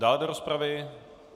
Dále do rozpravy?